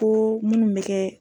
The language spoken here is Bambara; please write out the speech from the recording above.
Ko minnu bɛ kɛ.